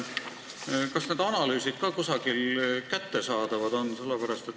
Kas need analüüsid ka kusagil kättesaadavad on?